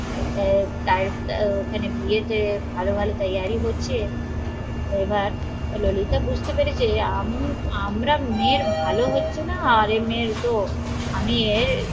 আহ ওখানে বিয়ে তে ভালো ভালো টায়ারি হচ্ছে এবার ললিত বুঝতে পেরেছে আমরা মেয়ের ভালো হচ্ছে না আর এ মেয়ের তো আমি এর